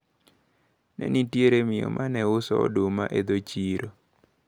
Ne nitiere mio maneuso oduma e dho chiro.